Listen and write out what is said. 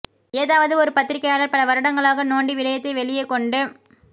ஏதாவது ஒரு பத்திரிகையாளர் பல வருடங்களாக நோண்டி விடயத்தை வெளியே கொண்டு